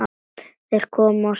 Þeir komu á svörtum